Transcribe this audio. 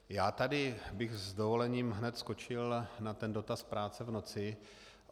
Já bych tady s dovolením hned skočil na ten dotaz práce v noci.